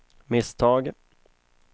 misstag